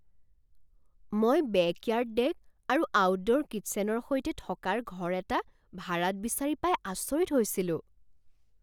মই backyard deck আৰু outdoor কিটছেনৰ সৈতে থকাৰ ঘৰ এটা ভাড়াত বিচাৰি পাই আচৰিত হৈছিলো।